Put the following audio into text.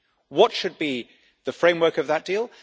What should be the framework of that deal?